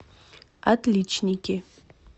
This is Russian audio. отличники